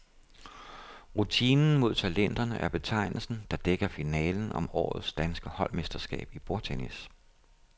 Rutinen mod talenterne er betegnelsen, der dækker finalen om årets danske holdmesterskab i bordtennis.